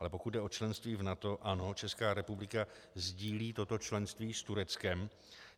Ale pokud jde o členství v NATO, ano, Česká republika sdílí toto členství s Tureckem.